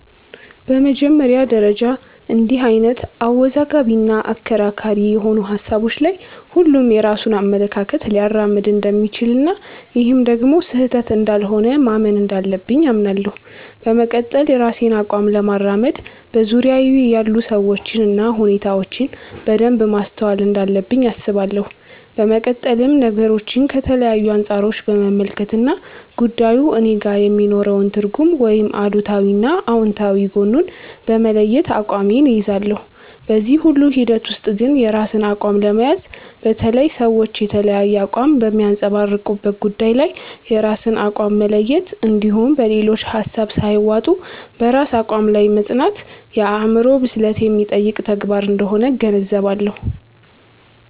በመጀመሪያ ደረጃ እንድህ አይነት አወዛጋቢ እና አከራካሪ የሆኑ ሀሳቦች ላይ ሁሉም የራሱን አመለካከት ሊያራምድ እንደሚችል እና ይህም ደግሞ ስህተት እንዳልሆነ ማመን እንዳለብኝ አምናለሁ። በመቀጠል የራሴን አቋም ለማራመድ በዙርያየ ያሉ ሰዎችን እና ሁኔታዎችን በደንብ ማስተዋል እንዳለብኝ አስባለሁ። በመቀጠልም ነገሮችን ከተለያዩ አንፃሮች በመመልከት እና ጉዳዩ እኔጋ የሚኖረውን ትርጉም ወይም አሉታዊ እና አውንታዊ ጎኑን በመለየት አቋሜን እይዛለሁ። በዚህ ሁሉ ሂደት ውስጥ ግን የራስን አቋም ለመያዝ፣ በተለይ ሰዎች የተለያየ አቋም በሚያንፀባርቁበት ጉዳይ ላይ የራስን አቋም መለየት እንድሁም በሌሎች ሀሳብ ሳይዋጡ በራስ አቋም ላይ መፅናት የአዕምሮ ብስለት የሚጠይቅ ተግባር አንደሆነ እገነዘባለሁ።